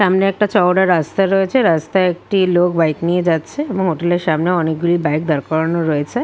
সামনে একটি চওড়া রাস্তা রয়েছে। রাস্তায় একটি লোক বাইক নিয়ে যাচ্ছে এবং হটোল -এর সামনে অনেক গুলি বাইক দাড় করান আছে ।